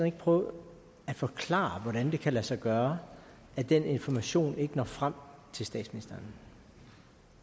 ikke prøve at forklare hvordan det kan lade sig gøre at den information ikke når frem til statsministeren